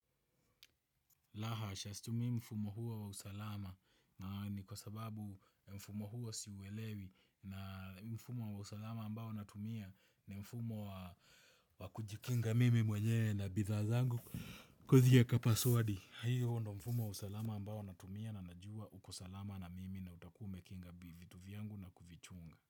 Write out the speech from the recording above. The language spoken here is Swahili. La hasha situmii mfumo huo wa usalama na ni kwa sababu mfumo huwa siuelewi na mfumo wa usalama ambao natumia ni mfumo wa kujikinga mimi mwenye na bidhaa zangu kuthieka paswadi. Hiyo ndo mfumo wa usalama ambao natumia na najua uko salama na mimi na utakua ume kinga vitu vyangu na kuvichunga.